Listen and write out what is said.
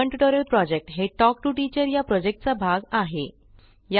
spoken tutorial project हे talk to teacher या प्रॉजेक्टचा भाग आहे